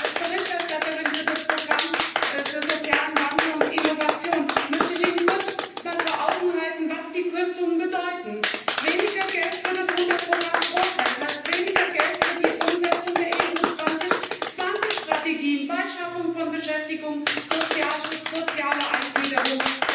Als Berichterstatterin für das Programm für sozialen Wandel und Innovation möchte ich Ihnen einmal kurz vor Augen führen, was die Kürzungen bedeuten Weniger Geld für das Unterprogramm Progress, das bedeutet weniger Geld für die Umsetzung der EU 2020 Strategien für die Schaffung von Beschäftigung, den Sozialschutz und soziale Eingliederung.